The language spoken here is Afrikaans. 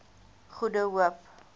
goede hoop